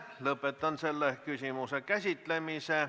Lõpetan selle küsimuse käsitlemise.